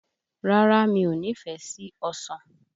Rárá, mi ò nífẹ̀ẹ́ sí ọsàn.